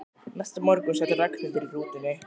Næsta morgun sat Ragnhildur í rútunni.